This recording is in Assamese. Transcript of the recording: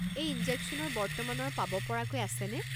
এই ইনজেকশ্যনৰ বৰ্তমানৰ পাব পৰাকৈ আছেনে?